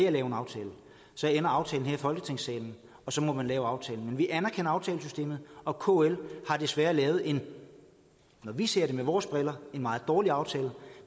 at lave en aftale så ender aftalen her i folketingssalen og så må man lave aftalen men vi anerkender aftalesystemet og kl har desværre lavet en som vi ser det med vores briller meget dårlig aftale